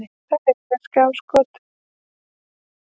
Þær eiga skot í slá.